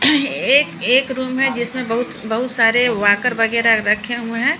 एक एक रूम है जिसमें बहुत बहुत सारे वाकर वगैरह रखे हुए है।